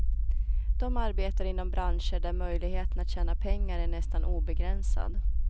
De arbetar inom branscher där möjligheten att tjäna pengar är nästan obegränsad.